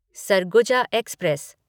Surguja express